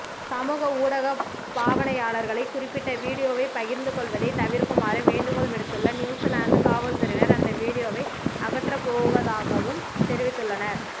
சமூக ஊடக பாவனையாளர்களை குறிப்பிட்ட வீடியோவை பகிர்ந்துகொள்வதை தவிர்க்குமாறு வேண்டுகோள் விடுத்துள்ள நியுசிலாந்து காவல்துறையினர் அந்த வீடியோவை அகற்றப்போவதாகவும் தெரிவித்துள்ளனர்